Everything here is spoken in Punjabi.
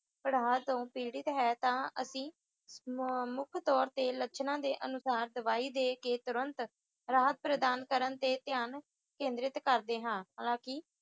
ਪੜ੍ਹਾ ਤੋਂ ਪੀੜਿਤ ਹੈ ਤਾਂ ਅਸੀਂ ਮੰ ਮੁੱਖ ਤੌਰ ਤੇ ਲੱਛਣਾਂ ਦੇ ਅਨੁਸਾਰ ਦਵਾਈ ਦੇ ਕੇ ਤੁਰੰਤ ਰਾਹਤ ਪ੍ਰਦਾਨ ਕਰਨ ਤੇ ਧਿਆਨ ਕੇਂਦਰਿਤ ਕਰਦੇ ਹਾਂ ਹਾਲਾਂਕਿ